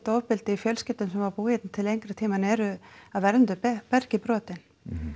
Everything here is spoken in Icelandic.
ofbeldi í fjölskyldum sem hafa búið hérna til lengri tíma en eru af erlendu bergi brotin